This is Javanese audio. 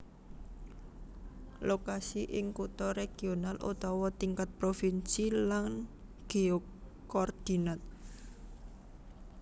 Lokasi ing kutha regional utawa tingkat provinsi lan geokordinat